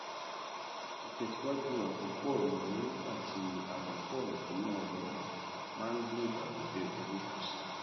ìtẹsíwájú àkópọ ináwó àti amúpọ ìdúná rọrùn máa ń dín ìbànújẹ owó kù sí i